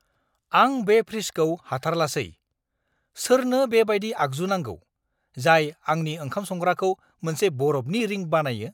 आं बे फ्रिजखौ हाथारलासै! सोरनो बेबायदि आगजु नांगौ, जाय आंनि ओंखाम संग्राखौ मोनसे बरफनि रिंक बानायो?